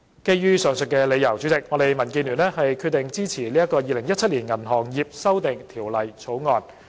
基於以上所述理由，主席，我們民建聯決定支持《2017年銀行業條例草案》。